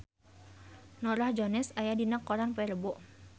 Norah Jones aya dina koran poe Rebo